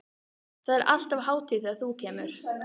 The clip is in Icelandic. Það er alltaf hátíð þegar þú kemur.